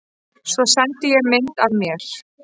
Svo sendi ég mynd af mér.